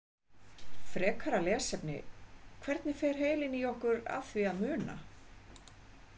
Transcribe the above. Frekara lesefni: Hvernig fer heilinn í okkur að því að muna?